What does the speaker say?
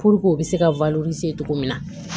u bɛ se ka cogo min na